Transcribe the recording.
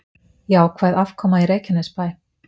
Jákvæð afkoma í Reykjanesbæ